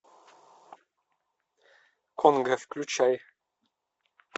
конго включай